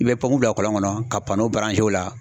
I bɛ bla kɔlɔn kɔnɔ ka o la.